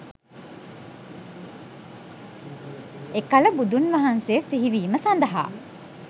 එකල බුදුන් වහන්සේ සිහිවීම සඳහා